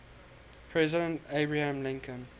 president abraham lincoln